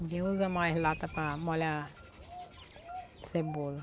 Ninguém usa mais lata para molhar cebola.